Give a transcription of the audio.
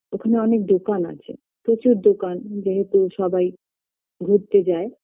ওখানে অনেক দোকান আছে প্রচুর দোকান যেহেতু সবাই ঘুরতে যায়